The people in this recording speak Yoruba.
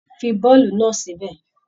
Fí boolubu náà sí bẹ!